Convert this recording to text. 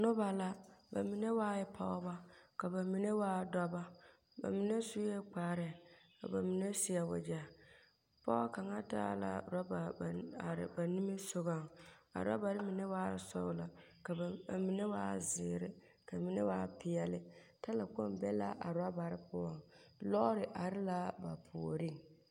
Noba la ba mine waae pɔgebɔ ka ba mine waa dɔbɔ ba mine sue kparre ka ba mine seɛ wogyɛ, pɔge kaŋa taa la orɔba ba are ba nimisogɔŋ a rabare mine waa sɔglɔ ka mine waa zeere ka mine waa peɛle, talakpoŋ be la a rabarre poɔŋ. Lɔɔre are la ba puoriŋ.